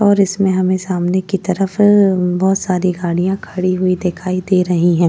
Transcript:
और इसमें हमे सामने की तरफ बहुत सारी गाड़िया खड़ी हुई दिखाई दे रही हैं।